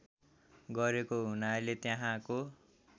गरेको हुनाले त्यहाँको